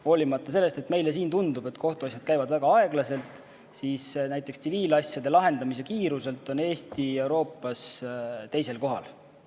Hoolimata sellest, et meile siin tundub, et kohtuasjad käivad väga aeglaselt, on näiteks tsiviilasjade lahendamise kiiruselt Eesti Euroopas teisel kohal.